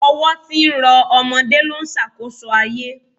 Ọwọ́ tí ń rọ ọmọdé ló ń ṣàkóso ayé